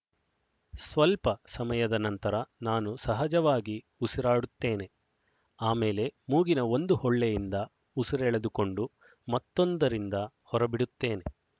ಸ್ವಲ್ಪ ಸಮಯದ ನಂತರ ನಾನು ಸಹಜವಾಗಿ ಉಸಿರಾಡುತ್ತೇನೆ ಆಮೇಲೆ ಮೂಗಿನ ಒಂದು ಹೊಳ್ಳೆಯಿಂದ ಉಸಿರೆಳೆದುಕೊಂಡು ಮತ್ತೊಂದರಿಂದ ಹೊರಬಿಡುತ್ತೇನೆ